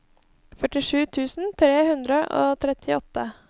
førtisju tusen tre hundre og trettiåtte